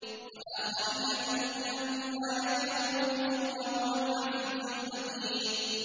وَآخَرِينَ مِنْهُمْ لَمَّا يَلْحَقُوا بِهِمْ ۚ وَهُوَ الْعَزِيزُ الْحَكِيمُ